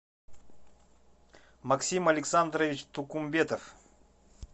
максим александрович тукумбетов